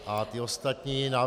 A ty ostatní návrhy -